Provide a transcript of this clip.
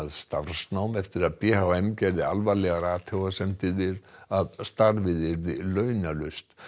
starfsnám eftir að b h m gerði alvarlegar athugasemdir við að starfið yrði launalaust